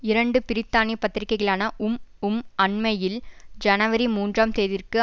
இரண்டு பிரித்தானிய பத்திரிகைகளான உம் உம் அண்மையில் ஜனவரி மூன்றாம் தேதிற்கு